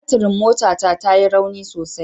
Baturin motata ya yi rauni sosai